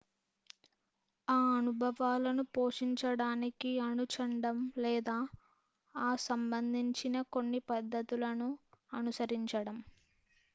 ఆ అనుభవాలను పోషించడానికి అనుచండం లేదా ఆ సంబందించిన కొన్ని పద్ధతులను అనుసరించడం